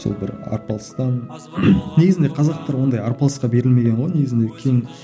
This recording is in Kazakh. сол бір арпалыстан негізінде қазақтар ондай арпалысқа берілмеген ғой негізінде кең